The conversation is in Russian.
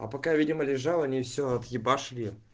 а пока видимо лежала они вроде все объебашили